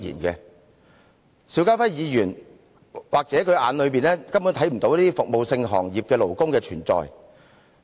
在邵家輝議員的眼中，也許根本看不到服務行業的勞工的存在。